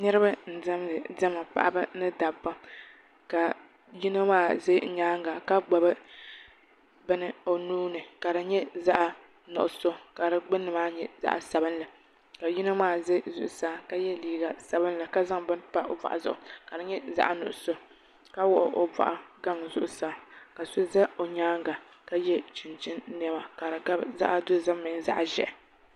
Niraba n diɛmdi diɛma paɣaba ni dabba ka yino maa ʒɛ nyaanga ka gbubi bini o nuuni ka di nyɛ zaɣ nuɣso ka di gbunni maa nyɛ zaɣ sabinli ka yino maa ʒɛ zuɣusaa ka yɛ liiga sabinli ka zaŋ bini pa o boɣu zuɣu ka di nyɛ zaɣ nuɣso ka wuɣi o boɣu zuɣusaa ka so ʒɛ o nyaanga ka yɛ chinchin niɛma ka di gabi zaɣ dozim mini zaɣ nuɣso